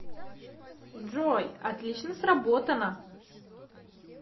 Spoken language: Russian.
джой отлично сработано